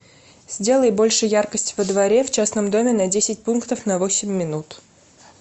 сделай больше яркость во дворе в частном доме на десять пунктов на восемь минут